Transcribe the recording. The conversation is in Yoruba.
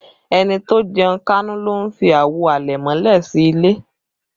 Ẹni tó jẹun kánú ló ń fi àwo àlẹ̀mọ́lẹ̀ sí ilé